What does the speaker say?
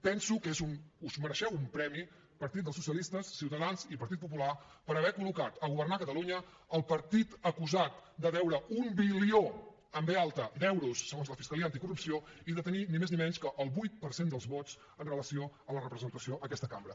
penso que us mereixeu un premi partit dels socialistes ciutadans i partit popular per haver collocat a governar catalunya el partit acusat de deure un bilió amb be alta d’euros segons la fiscalia anticorrupció i de tenir ni més ni menys que el vuit per cent dels vots amb relació a la representació en aquesta cambra